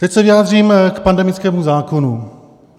Teď se vyjádřím k pandemickému zákonu.